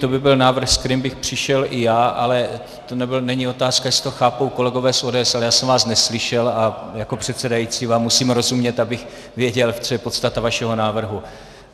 To by byl návrh, se kterým bych přišel i já, ale tohle není otázka, jestli to chápou kolegové z ODS, ale já jsem vás neslyšel a jako předsedající vám musím rozumět, abych věděl, co je podstata vašeho návrhu.